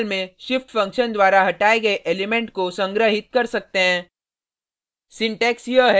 हम कुछ वेरिएबल में shift फंक्शन द्वारा हटाये गये एलिमेंट को संग्रहित कर सकते हैं